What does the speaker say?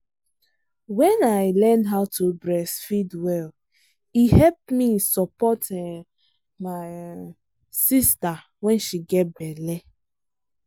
when i learn how to breastfeed welle help me support um my um sister when she get belle.